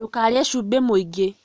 Ndũkarĩe cumbĩ mwĩingĩ